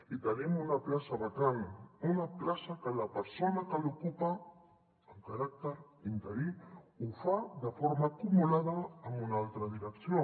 i tenim una plaça vacant una plaça que la persona que l’ocupa amb caràcter interí ho fa de forma acumulada amb una altra direcció